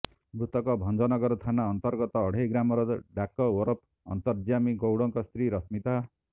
ମୃତକ ଭଞ୍ଜନଗର ଥାନା ଅନ୍ତର୍ଗତ ଅଢ଼େଇ ଗ୍ରାମର ଡାକ ଓରଫ ଅନ୍ତର୍ଯ୍ୟାମୀ ଗୌଡ଼ଙ୍କ ସ୍ତ୍ରୀ ରଶ୍ମିତା